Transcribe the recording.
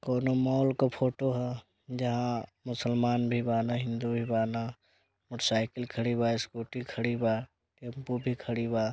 कोनो मॉल का फोटो है जहाँ मुसलमान भी बाना हिंदू भी बाना मोटरसाइकिल खड़ी बा स्कूटी खड़ी बा टेम्पो भी खड़ी बा।